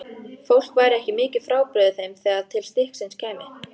Fólk væri ekki mikið frábrugðið þeim þegar til stykkisins kæmi.